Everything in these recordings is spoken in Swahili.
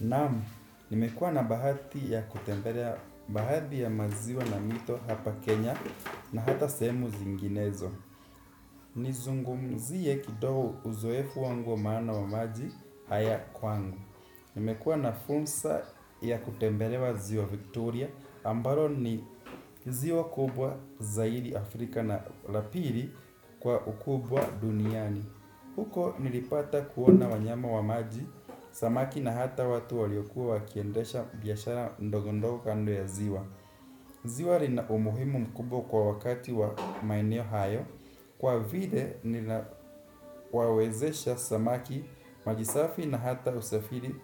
Naamu, nimekuwa na bahati ya kutembelea baadhi ya maziwa na mito hapa Kenya na hata sehemu zinginezo. Nizungumzie kidogo uzoefu wangu maana wa maji haya kwangu. Nimekuwa na fursa ya kutembelea ziwa Victoria ambalo ni ziwa kubwa zaidi Afrika na la pili kwa ukubwa duniani. Huko nilipata kuona wanyama wa maji, samaki na hata watu waliokuwa wakiendesha biashara ndogo ndogo kando ya ziwa. Ziwa lina umuhimu mkubwa kwa wakati wa maeneo hayo. Kwa vile lina wawezesha samaki, maji safi na hata usafiri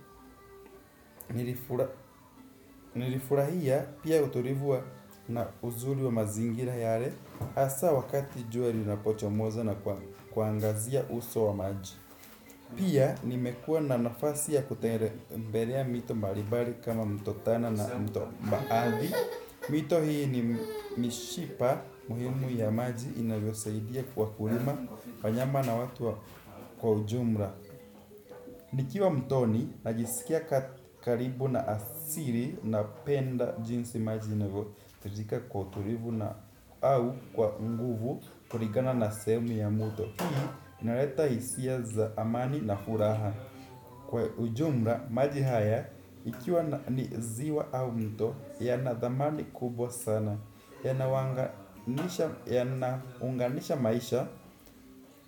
nilifurahia pia utulivu wa na uzuri wa mazingira yale. Hssa wakati jua linapochomoza na kuangazia uso wa maji. Pia nimekua na nafasi ya kutembelea mito mbali mbali kama mto tana na mto baadi. Mito hii ni mishipa muhimu ya maji inavyo saidia kwa kulima wanyama na watu kwa ujumla. Nikiwa mtoni najisikia karibu na asili napenda jinsi maji inavyotijika kwa utulivu na au kwa unguvu kulingana na sehemu ya mto. Hii inaleta hisia za amani na furaha. Kwa ujumla, maji haya, ikiwa ni ziwa au mto, yana dhamani kubwa sana. Yana unganisha maisha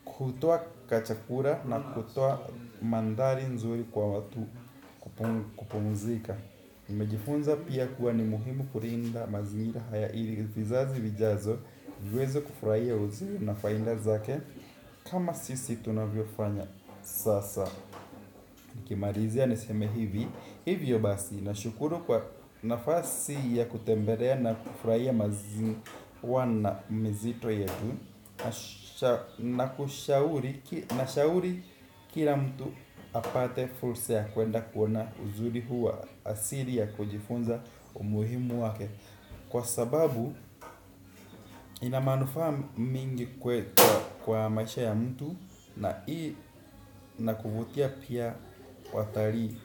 kutoa kachakula na kutoa mandhari nzuri kwa watu kupumzika. Nimejifunza pia kuwa ni muhimu kulinda mazingira haya ili vizazi vijazo viweze kufurahia uzuri na faida zake. Kama sisi tunavyo fanya sasa. Nikimalizia niseme hivi. Hivyo basi, na shukuru kwa nafasi ya kutembelea na kufrahia maziwa na mizito yetu. Na kushauri, na shauri kila mtu apate fursa ya kuenda kuona uzuri huwa asili ya kujifunza umuhimu wake. Kwa sababu ina manufaa mingi kwa maisha ya mtu na hii inakuvutia pia watalii.